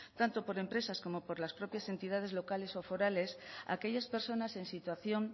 tanto por empresas como por las propias entidades locales o forales aquellas personas en situación